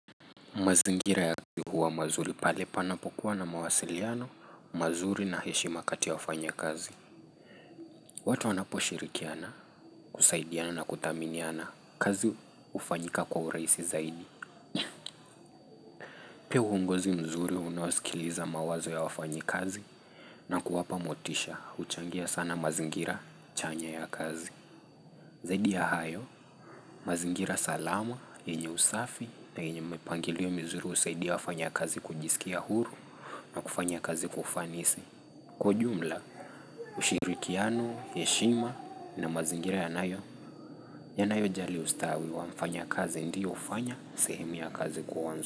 Mazingira ya kazi huwa mazuri pale panapokuwa na mawasiliano, mazuri na heshima kati ya wafanya kazi. Watu wanapo shirikiana, kusaidiana na kuthaminiana, kazi hufanyika kwa urahisi zaidi. Pia uongozi mzuri unaosikiliza mawazo ya wafanyi kazi na kuwapa motisha, uchangia sana mazingira chanya ya kazi. Zaidi ya hayo, mazingira salama, yenye usafi na yenye mpangilio mizuri husaidia wafanya kazi kujisikia huru na kufanya kazi kwaufanisi. Kwa ujumla, ushirikiano, heshima na mazingira yanayo, yanayo jali ustawi wa mfanya kazi ndiyo hufanya sehemu ya kazi kuwa nzuri.